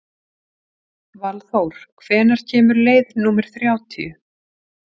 Valþór, hvenær kemur leið númer þrjátíu?